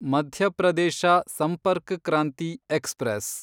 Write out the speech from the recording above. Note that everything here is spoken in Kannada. ಮಧ್ಯ ಪ್ರದೇಶ ಸಂಪರ್ಕ್ ಕ್ರಾಂತಿ ಎಕ್ಸ್‌ಪ್ರೆಸ್